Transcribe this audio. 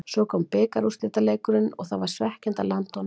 Svo kom bikarúrslitaleikurinn og það var svekkjandi að landa honum ekki.